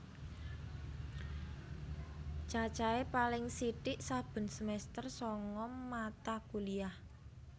Cacahe paling sithik saben semester sanga mata kuliah